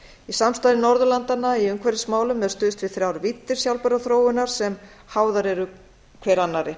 í samstarfi norðurlandanna í umhverfismálum er stuðst við þrjár víddir sjálfbærrar þróunar sem háðar eru hver annarri